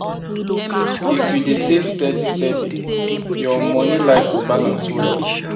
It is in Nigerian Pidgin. if you dey save steady steady your money life go balance well